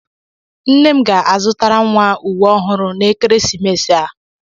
Nne m ga-azụtara nwa ụwe ọhụrụ n'ekeresimesi a.